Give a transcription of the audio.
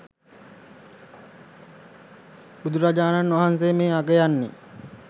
බුදුරජාණන් වහන්සේ මේ අගයන්නේ